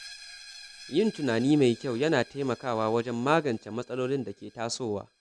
Yin tunani mai kyau yana taimakawa wajen magance matsalolin da ke tasowa.